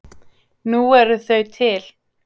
Nú eru þau til.